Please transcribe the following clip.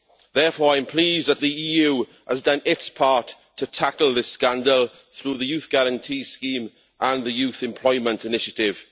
Therefore, I am pleased that the EU has done its part to tackle this scandal through the Youth Guarantee Scheme and the Youth Employment Initiative.